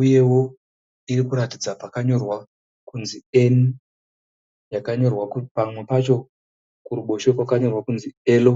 uyewo irikuratidza pakanyorwa kunzi (N) yakanyorwa pamwe pacho kuruboshwe kwakanyorwa kunzi ( L).